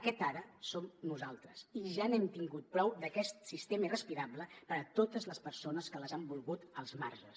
aquest ara som nosaltres i ja n’hem tingut prou d’aquest sistema irrespirable per a totes les persones que les han volgut als marges